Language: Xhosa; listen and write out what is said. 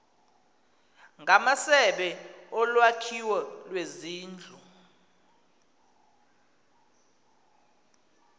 ngamasebe olwakhiwo lwezindlu